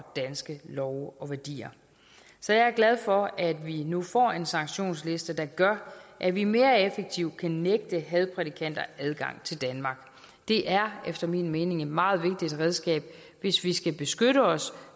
danske love og værdier så jeg er glad for at vi nu får en sanktionsliste der gør at vi mere effektivt kan nægte hadprædikanter adgang til danmark det er efter min mening et meget vigtigt redskab hvis vi skal beskytte os